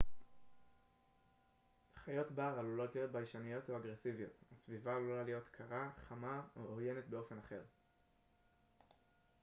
חיות בר עלולות להיות ביישניות או אגרסיביות הסביבה עלולה להיות קרה חמה או עוינת באופן אחר